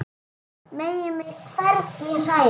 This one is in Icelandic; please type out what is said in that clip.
Megi mig hvergi hræra.